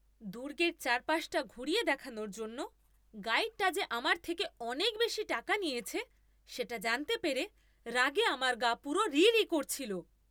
দুর্গের চারপাশটা ঘুরিয়ে দেখানোর জন্য গাইডটা যে আমার থেকে অনেক বেশি টাকা নিয়েছে সেটা জানতে পেরে রাগে আমার গা পুরো রিরি করছিল।